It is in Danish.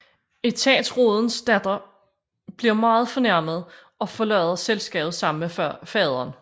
Etatsrådens datter bliver meget fornærmet og forlader selskabet sammen med faderen